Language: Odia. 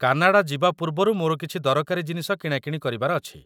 କାନାଡ଼ା ଯିବା ପୂର୍ବରୁ ମୋର କିଛି ଦରକାରୀ ଜିନିଷ କିଣାକିଣି କରିବାର ଅଛି।